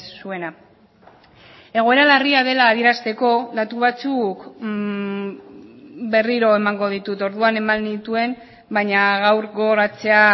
zuena egoera larria dela adierazteko datu batzuk berriro emango ditut orduan eman nituen baina gaur gogoratzea